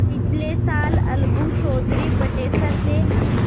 पिछले साल अलगू चौधरी बटेसर से